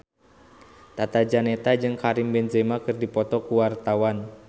Tata Janeta jeung Karim Benzema keur dipoto ku wartawan